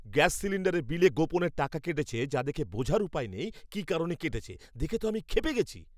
Gas সিলিন্ডারের বিলে গোপনে টাকা কেটেছে যা দেখে বোঝার উপায় নেই কী কারণে কেটেছে, দেখে তো আমি ক্ষেপে গেছি!